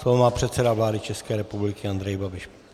Slovo má předseda vlády České republiky Andrej Babiš.